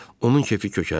Onun kefi kökəldi.